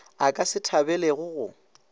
a ka se thabelego go